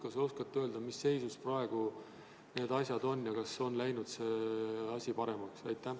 Kas te oskate öelda, mis seisus praegu need asjad on ja kas see asi on läinud paremaks?